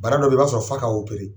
Bana dɔw bɛ ye ib'a sɔrɔ fa ka' opp opéré